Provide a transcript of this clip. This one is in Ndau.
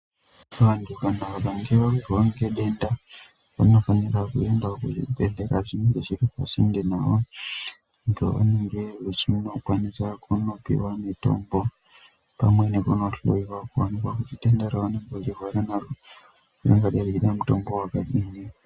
Vantu vakange varwara ngedenda vanofanira kuendavo kuzvibhedhlera zvinenge zviri pasinde navo. Pavanenge vachinokwanisa kunopiva mitombo pamwe nekunohoiwa kuonekwa kuti denda raunenge uchirwara naro tingada mutombo vakadini.